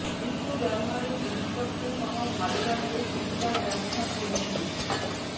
নিত্য ব্যবহারের জিনিসপত্রসহ ভালো রাখতে সিলিকার ব্যবহার জেনে নিন